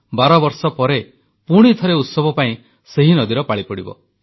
ବାରବର୍ଷ ପରେ ପୁଣି ଥରେ ଉତ୍ସବ ପାଇଁ ସେହି ନଦୀର ପାଳି ପଡ଼ିବ